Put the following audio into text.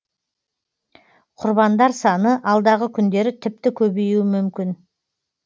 құрбандар саны алдағы күндері тіпті көбеюі мүмкін